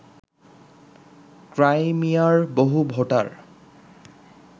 ক্রাইমিয়ার বহু ভোটার